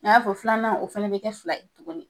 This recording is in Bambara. A y'a fɔ filanan o fɛnɛ bɛ kɛ fila ye tuguni.